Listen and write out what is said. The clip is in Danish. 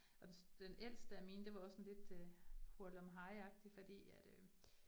Og den ældste af mine, det var også sådan lidt øh hurlumhejagtigt fordi at øh